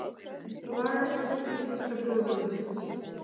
Lagasafn íslenska þjóðveldisins.